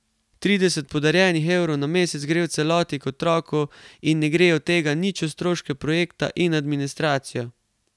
Trideset podarjenih evrov na mesec gre v celoti k otroku in ne gre od tega nič v stroške projekta in administracijo.